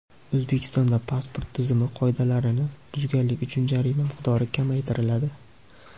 O‘zbekistonda pasport tizimi qoidalarini buzganlik uchun jarima miqdori kamaytiriladi.